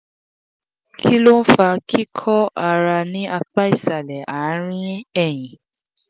kí ló ń fa kíkọ́ ara ní apá ìsàlẹ̀ àárín ẹ̀yìn?